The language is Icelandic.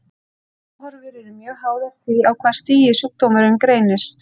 Batahorfur eru mjög háðar því á hvaða stigi sjúkdómurinn greinist.